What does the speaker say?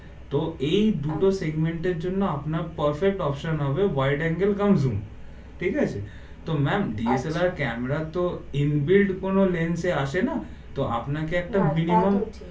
তো এই দুটো segment জন্য আপনার perfect option wide angle come zoom ঠিক আছে তো ma'am DSLR ক্যামেরা তো inbuilt কোনো lens আসে না তো আপনাকে একটা minimum